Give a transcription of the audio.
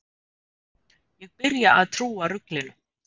Ég byrja að trúa ruglinu.